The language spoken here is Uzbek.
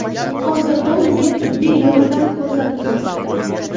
Hozirda unga tibbiy yordam ko‘rsatilmoqda.